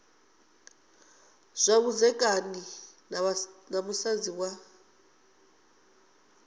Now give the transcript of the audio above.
zwa vhudzekani na musadzi wa